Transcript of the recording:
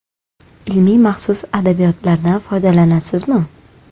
Ilmiy, maxsus adabiyotlardan foydalanasizmi?